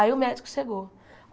Aí o médico chegou.